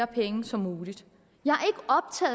penge som muligt jeg